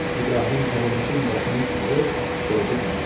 İbrahim Pərinüşün başını alıb qoydu dizi üstə.